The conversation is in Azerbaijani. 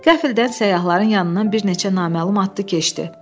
Qəflətən səyahların yanından bir neçə naməlum atlı keçdi.